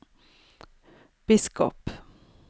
biskop